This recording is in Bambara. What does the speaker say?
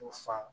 U fa